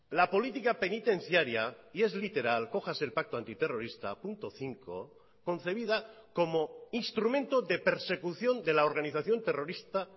la política penitenciaria y es literal cójase el pacto antiterrorista punto cinco concebida como instrumento de persecución de la organización terrorista